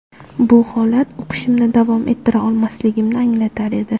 Bu holat o‘qishimni davom ettira olmasligimni anglatar edi.